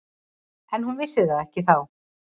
En hún vissi það ekki þá.